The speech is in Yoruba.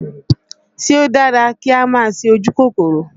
Ṣé ó dára kí á máa ṣe ojú kòkòrò?